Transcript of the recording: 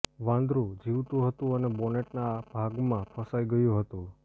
વાંદરું જીવતું હતું અને બોનેટના ભાગમાં ફસાઈ ગયું હતું